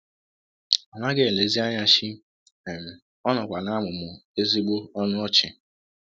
Ọ naghị elezi anya shii um, ọ nọkwa na - amụmụ ezịgbọ um ọnụ ọchị.